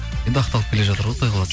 енді ақталып келе жатыр ғой құдай қаласа